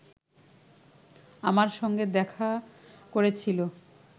আমার সঙ্গে দেখা করেছিল